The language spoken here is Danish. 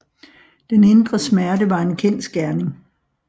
Den indre smerte var en kendsgerning